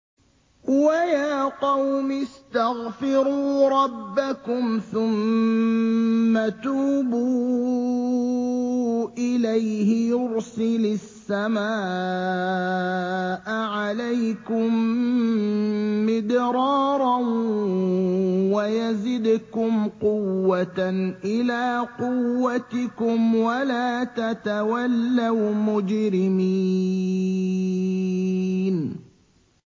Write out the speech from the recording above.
وَيَا قَوْمِ اسْتَغْفِرُوا رَبَّكُمْ ثُمَّ تُوبُوا إِلَيْهِ يُرْسِلِ السَّمَاءَ عَلَيْكُم مِّدْرَارًا وَيَزِدْكُمْ قُوَّةً إِلَىٰ قُوَّتِكُمْ وَلَا تَتَوَلَّوْا مُجْرِمِينَ